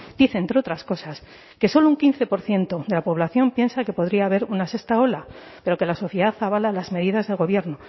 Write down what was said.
dice entre otras cosas que solo un quince por ciento de la población piensa que podría haber una sexta ola pero que la sociedad avala las medidas del gobierno